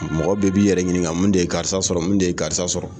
Mɔgɔ bɛɛ b'i yɛrɛ ɲiniga mun de ye karisa sɔrɔ mun de ye karisa sɔrɔ